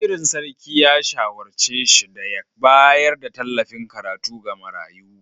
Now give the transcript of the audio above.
Wazirin Sarki ya shawarce shi da ya bayar da tallafin karatu ga marayu.